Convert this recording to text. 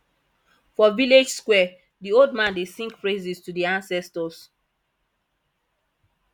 for village square di old man dey sing praises to di ancestors